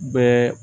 Bɛɛ